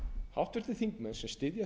háttvirtir þingmenn sem styðja